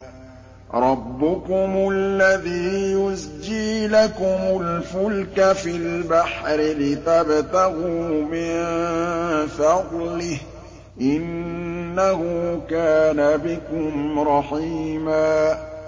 رَّبُّكُمُ الَّذِي يُزْجِي لَكُمُ الْفُلْكَ فِي الْبَحْرِ لِتَبْتَغُوا مِن فَضْلِهِ ۚ إِنَّهُ كَانَ بِكُمْ رَحِيمًا